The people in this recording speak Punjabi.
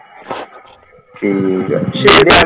ਠੀਕ ਹੈ